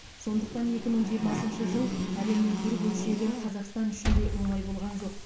сондықтан екі мың жиырмасыншы жыл әлемнің бір бөлшегі қазақстан үшін де оңай болған жоқ